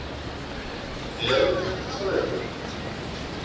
Eða taktu strætó.